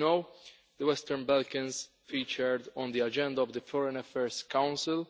As you know, the Western Balkans featured on the agenda of the Foreign Affairs Council